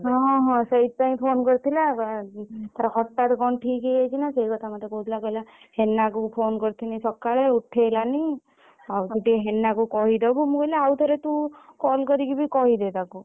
ହଁ ହଁ ସେଇଥିପାଇଁ phone କରିଥିଲା ତାର ହଟାତ କଣ ଠିକ ହେଇଯାଇଛି ନା ସେଇ କଥା ମତେ କହୁଥିଲା କହିଲା ହେନା କୁ phone କରିଥିଲି ସକାଳେ ଉଠେଇଲାନି ଆଉ ତୁ ଟିକେ ହେନା କୁ କହିଦବୁ ମୁଁ କହିଲି ଆଉ ଥରେ ତୁ call କରିକି ବି କହିଦେ ତାକୁ।